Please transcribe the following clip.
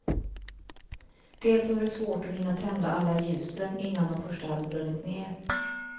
Dels var det svårt att hinna tända alla ljusen innan de första hade brunnit ned.